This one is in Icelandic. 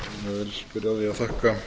því að þakka